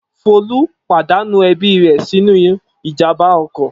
Folú pàdánù ẹbí rẹ̀ sínú ìjàmbá ọkọ̀.